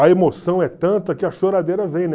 a emoção é tanta que a choradeira vem, né?